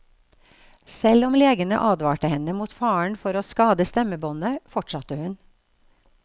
Selv om legene advarte henne mot faren for å skade stemmebåndet, fortsatte hun.